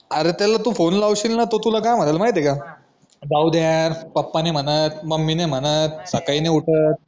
अरे तू त्याला फोने लावशील तर तो तुला काय म्हणाल माहिती ए का जाऊदे यार पप्पा नाय म्हणत मम्मी नाय म्हणत सकाळी नाय उठत